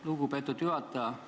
Lugupeetud juhataja!